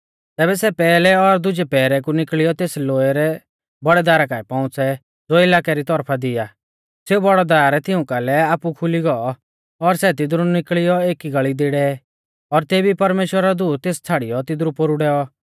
तैबै सै पैहलै और दुजै पैहरै कु निकल़ियौ तेस लोऐ रै बौड़ै दारा काऐ पौउंच़ै ज़ो इलाकै री तौरफा दी आ सेऊ बौड़ौ दार तिऊं कालै आपु खुली गौ और सै तिदरु निकल़ियौ एकी गल़ी दी डै और तेबी ई परमेश्‍वरा रौ दूत तेस छ़ाड़ियौ तिदरु पोरु डैऔ